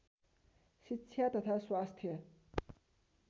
शिक्षा तथा स्वास्थ्य